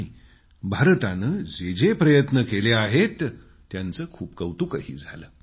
आणि भारताने जे जे प्रयत्न केले आहेत त्याचं खूप कौतुकही झालं